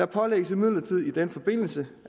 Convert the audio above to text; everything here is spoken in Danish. pålægges imidlertid i den forbindelse